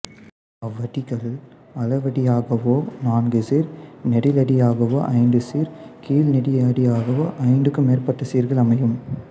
அவ்வடிகள் அளவடியாகவோ நான்கு சீர் நெடிலடியாகவோ ஐந்து சீர் கழிநெடிலடியாகவோ ஐந்துக்கும் மேற்பட்ட சீர்கள் அமையும்